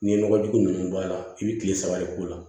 N'i ye nɔgɔ jugu nunnu bɔ a la i bi kile saba de k'o la